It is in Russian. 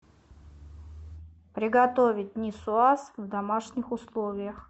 приготовить нисуаз в домашних условиях